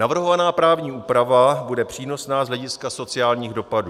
Navrhovaná právní úprava bude přínosná z hlediska sociálních dopadů.